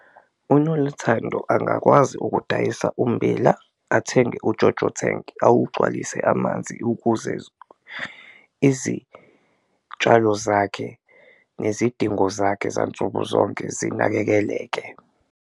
UNoluthando angakwazi ukudayisa ummbila athenge uJoJo tank, awugcwalise amanzi ukuze izitshalo zakhe nezidingo zakhe zansuku zonke zinakekeleke.